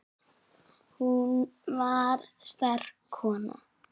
Hún var sterk kona.